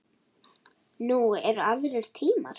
Nú eru aðrir tímar.